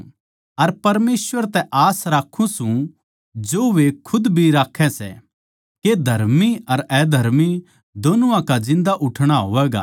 अर परमेसवर तै आस राक्खूँ सूं जो वे खुद भी राक्खै सै के धर्मी अर अधर्मी दोनुआ का जिन्दा उठणा होवैगा